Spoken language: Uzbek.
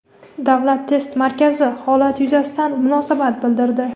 Davlat test markazi holat yuzasidan munosabat bildirdi.